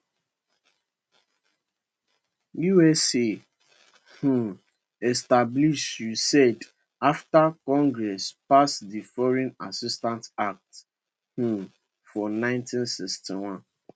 us um establish usaid afta congress pass di foreign assistance act um for 1961